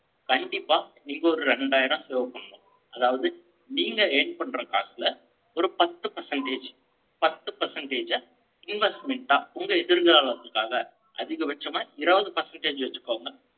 கண்டிப்பா, நீங்க ஒரு இரண்டாயிரம் செளவு பண்ணணும். அதாவது, நீங்க earn பண்ற காசுல, ஒரு பத்து percentage, பத்து percentage அ investment அ, உங்க எதிர்காலத்துக்காக அதிகபட்சமா, இருபது percentage வச்சுக்கோங்க.